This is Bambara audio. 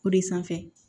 O de sanfɛ